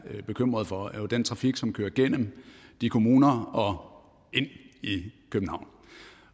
er bekymret for er jo den trafik som kører gennem de kommuner og ind i københavn